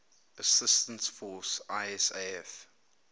assistance force isaf